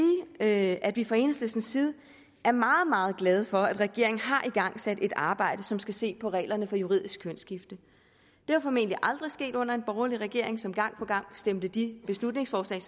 at at vi fra enhedslistens side er meget meget glade for at regeringen har igangsat et arbejde som skal se på reglerne for juridisk kønsskifte det var formentlig aldrig sket under en borgerlig regering som gang på gang stemte de beslutningsforslag